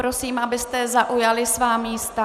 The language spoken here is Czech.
Prosím, abyste zaujali svá místa.